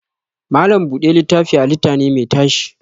Malam buɗe littafi halitta ne mai tashi